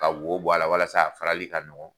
Ka wo bɔ a la walasa a farali ka nɔgɔn